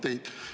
Küsimus!